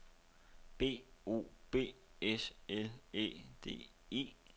B O B S L Æ D E